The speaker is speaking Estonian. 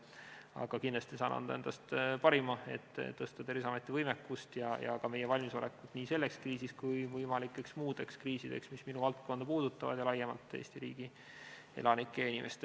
Aga kindlasti saan anda endast parima, et parandada Terviseameti võimekust ja ka meie valmisolekut nii selleks kriisiks kui ka võimalikeks muudeks kriisideks, mis puudutavad minu valdkonda ja laiemalt Eesti riigi elanike heaolu.